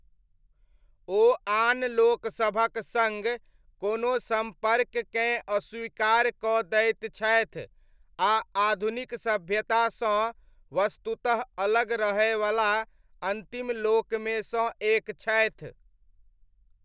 ओ आन लोकसभक सङ्ग कोनो सम्पर्ककेँ अस्वीकार कऽ दैत छथि आ आधुनिक सभ्यतासँ वस्तुतः अलग रहयवला अन्तिम लोकमे सँ एक छथि।